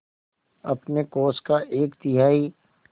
अपने कोष का एक तिहाई